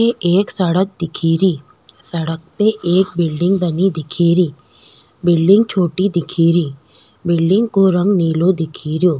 इथे एक सड़क दिखेरी सड़क पे एक बिल्डिंग बनी दिखेरी बिल्डिंग छोटी दिखेरी बिल्डिंग को रंग नीलो दिखे रियो।